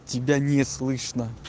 тебя не слышно